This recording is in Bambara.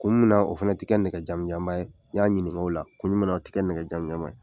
Kun munna o fana tɛ kɛ nɛgɛ jamijanba ye n y'a ɲinink'ola kun jumɛ na o tɛ nɛgɛ jamijan ye